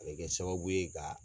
A bɛ kɛ sababu ye ka